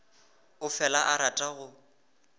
o fela a rata go